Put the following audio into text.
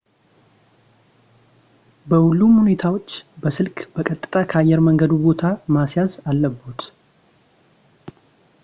በሁሉም ሁኔታዎች በስልክ በቀጥታ ከአየር መንገዱ ቦታ ማስያዝ አለብዎት